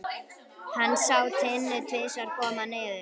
Hann sá Tinnu tvisvar koma niður.